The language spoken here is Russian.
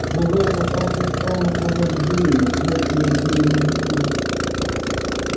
лужайку со всех сторон окружали деревья пряча её от деревни внизу